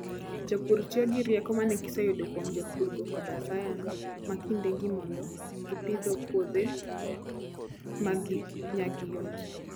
Jopur tiyo gi rieko ma ne giseyudo kuom jopurgo koda sayans ma kindegi mondo gipidho puothe ma nyagi yot.